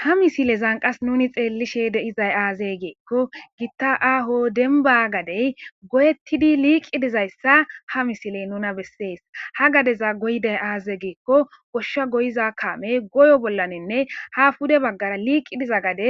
ha misilezan qas nuni xeellishe deizay aazey geekko gitta aaho denba gadey goyettidi liiqi dizayssa ha misiley nuna bessees ha gadeza goydey aaze geekko goshsha goyiza kaamey goyo bollaninne ha fude baggara liiqidiza gade